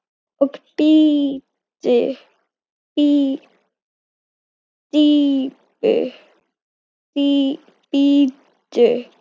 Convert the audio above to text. Og bíddu.